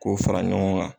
K'o fara ɲɔgɔn kan